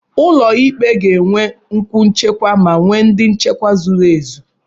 ụlọ ikpe ga-enwe kwú nchekwa ma enwe ndị nchekwa zuru ezu